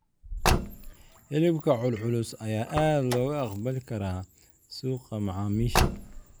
Hilibka culculus ayaa aad looga aqbali karaa suuqa macaamiisha.